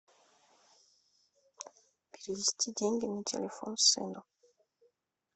перевести деньги на телефон сыну